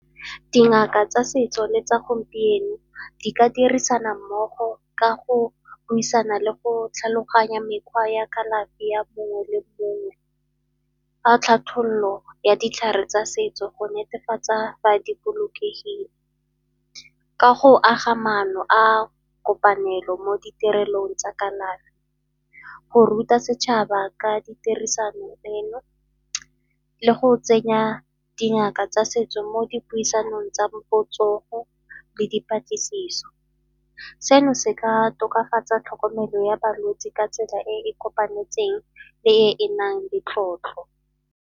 Dingaka tsa setso le tsa gompieno di ka dirisana mmogo ka go buisana le go tlhaloganya mekgwa ya kalafi ya mongwe le mongwe. Fa ya ditlhare tsa setso go netefatsa di bolokegile ka go aga maano a kopanelo mo ditirelong tsa kalafi, go ruta setšhaba ka ditirisano eno le go tsenya dingaka tsa setso mo dipuisanong tsa botsogo le dipatlisiso. Seno se ka tokafatsa tlhokomelo ya balwetsi ka tsela e e kopanetsweng le e e nang le tlotlo.